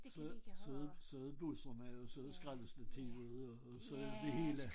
Så så så det busserne eller så det skraldestativet og og så det det hele